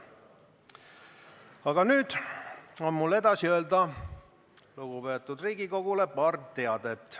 Aga nüüd on mul lugupeetud Riigikogule öelda edasi paar teadet.